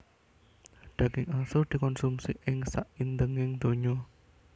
Daging asu dikonsumi ing saindenging donya